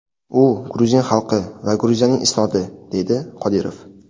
U gruzin xalqi va Gruziyaning isnodi”, deydi Qodirov.